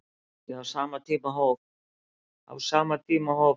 Á sama tíma hóf